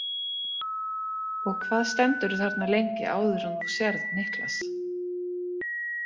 Og hvað stendurðu þarna lengi áður en þú sérð Niklas?